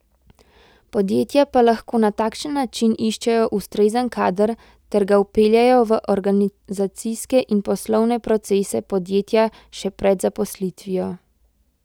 Podjetja pa lahko na takšen način iščejo ustrezen kader ter ga vpeljejo v organizacijske in poslovne procese podjetja še pred zaposlitvijo.